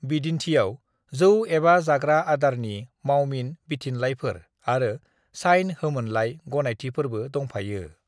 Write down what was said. बिदिन्थियाव जौ एबा जाग्रा आदारनि मावमिन बिथिनलाइफोर आरो साइन होमोनलाइ गनायथिफोरबो दंफायो।